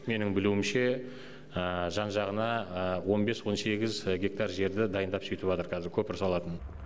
менің білуімше жан жағына он бес он сегіз гектар жерді дайындап сүйтіватыр кәзір көпір салатын